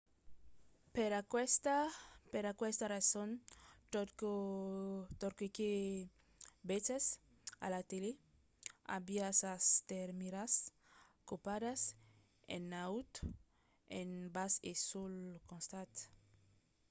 per aquesta rason tot çò que vesètz a la tele aviá sas termièras copadas en naut en bas e suls costats